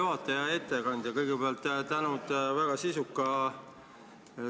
Te oleksite võinud üritada natuke nendel ainetel rääkida.